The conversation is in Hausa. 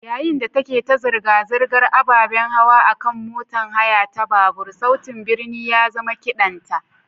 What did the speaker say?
Yayin da ta ke ta zirga-zirgar ababen hawa a kan motar haya ta babur, sautin birni ya zama kiɗanta.